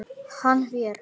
Hann hver?